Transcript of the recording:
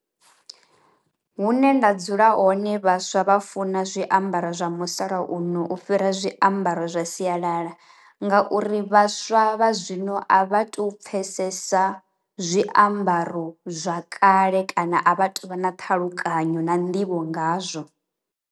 Hune nda dzula hone vhaswa vha funa zwiambaro zwa musalauno u fhira zwiambaro zwa sialala, ngauri vhaswa vha zwino a vha to pfesesa zwiambaro zwa kale kana a vhato vha na ṱhalukanyo na nḓivho ngazwo.